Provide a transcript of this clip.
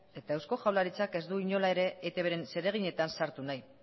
eta eusko jaurlaritzak ez du inola ere ez etbren zereginetan sartu nahi